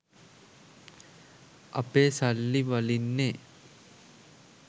අපේ සල්ලි වලින්නෙ